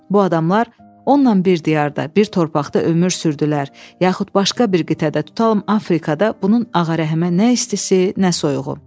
Bu adamlar onunla bir diyarda, bir torpaqda ömür sürdülər, yaxud başqa bir qitədə, tutalım Afrikada bunun Ağarəhmə nə istisi, nə soyuğu.